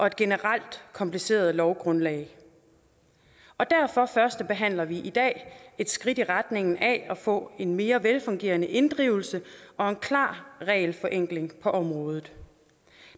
et generelt kompliceret lovgrundlag og derfor førstebehandler vi i dag et skridt i retning af at få en mere velfungerende inddrivelse og en klar regelforenkling på området